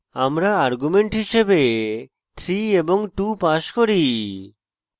আমরা arguments হিসাবে 3 এবং 2 pass করি